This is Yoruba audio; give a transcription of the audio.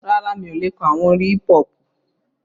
Rárá, mi ò le kọ àwọn orin hípú-họpù